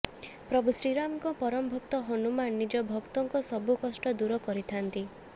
ପ୍ରଭୁ ଶ୍ରୀରାମଙ୍କ ପରମ ଭକ୍ତ ହନୁମାନ ନିଜ ଭକ୍ତଙ୍କ ସବୁ କଷ୍ଟ ଦୂର କରିଥାନ୍ତି